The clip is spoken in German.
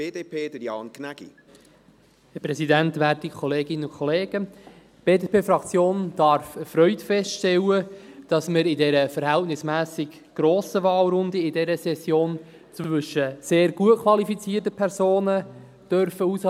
Die BDP-Fraktion darf erfreut feststellen, dass wir in dieser verhältnismässig grossen Wahlrunde in dieser Session zwischen sehr gut qualifizierten Personen auswählen dürfen.